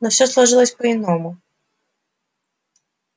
но всё сложилось по-иному